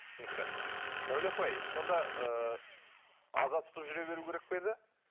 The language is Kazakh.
түсінікті сәуле апай сонда ыыы аза тұтып жүре беру керек пе еді